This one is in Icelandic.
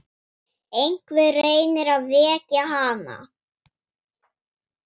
Einhver reynir að vekja hana.